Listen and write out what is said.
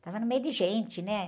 Estava no meio de gente, né?